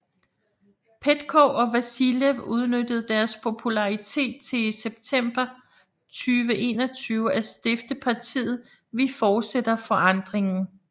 Petkov og Vasilev udnyttede deres popularitet til i september 2021 at stifte partiet Vi Fortsætter Forandringen